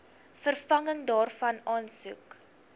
vervanging daarvan aansoek